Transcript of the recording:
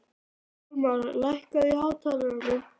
Hjálmar, lækkaðu í hátalaranum.